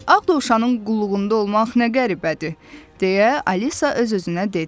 Ağ dovşanın qulluğunda olmaq nə qəribədir, deyə Alisa öz-özünə dedi.